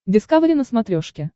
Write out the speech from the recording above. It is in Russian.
дискавери на смотрешке